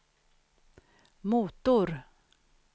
motor